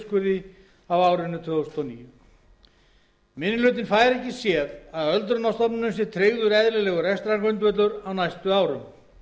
prósent niðurskurði á árinu tvö þúsund og níu minni hlutinn fær ekki séð að öldrunarstofnunum sé tryggður eðlilegur rekstrargrundvöllur á næstu árum